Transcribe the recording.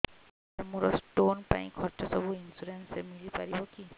ସାର ମୋର ସ୍ଟୋନ ପାଇଁ ଖର୍ଚ୍ଚ ସବୁ ଇନ୍ସୁରେନ୍ସ ରେ ମିଳି ପାରିବ କି